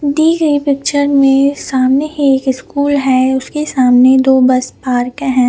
दी गए पिक्चर में सामने है एक स्कुल है उसके सामने दो बस पार्क है।